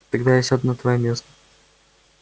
тогда я сяду на твоё место